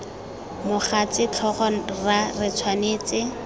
mogatse tlhogo rra re tshwanetse